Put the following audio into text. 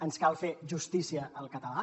ens cal fer justícia al català